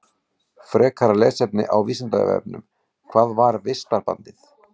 Frekara lesefni á Vísindavefnum: Hvað var vistarbandið?